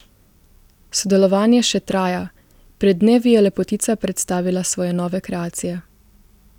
Sodelovanje še traja, pred dnevi je lepotica predstavila svoje nove kreacije.